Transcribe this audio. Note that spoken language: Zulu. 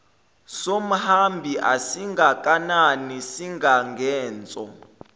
somhambi asingakanani singangenso